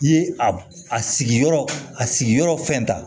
I ye a sigiyɔrɔ a sigiyɔrɔ fɛn ta